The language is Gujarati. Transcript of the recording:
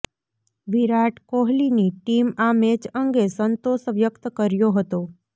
વિરાટ કોહલીની ટીમ આ મેચ અંગે સંતોષ વ્યક્ત કર્યો હતો